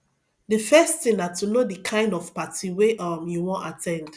di first thing na to know di kind of party wey um you wan at ten d